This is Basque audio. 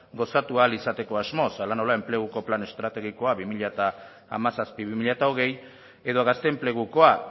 gozatu ahal izateko asmoz hala nola enpleguko plan estrategikoa bi mila hamazazpi bi mila hogei edo gazte enplegukoa